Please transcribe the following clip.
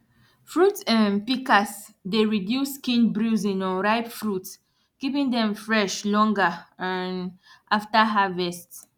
fruit um pikas dey reduce skin bruising on ripe fruit keeping dem fresh longer um after harvest